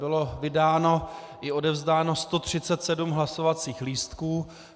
Bylo vydáno i odevzdáno 137 hlasovacích lístků.